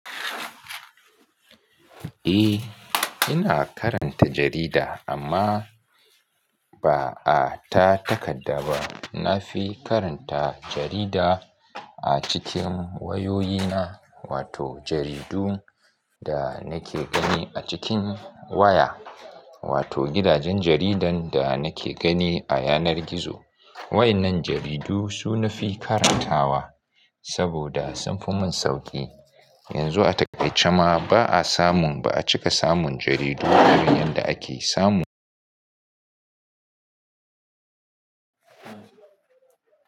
Eh, ina karanta jarida amma, ba ah, ta takadda ba. Na fi karanta jarida a cikin wayoyina, wato jaridu da nake gani a cikin waya, wato gidajen jaridan da nake gani a yanar gizo. Wa innan jaridu, su nafi karantawa. Saboda, sun fi mun sauƙi. Yanzu a taƙaice ma, ba a samun ba a cika samun jaridu, kamar yadda ake samu.